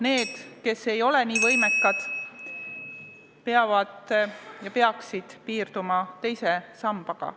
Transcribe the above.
Need, kes ei ole nii võimekad, peaksid piirduma teise sambaga.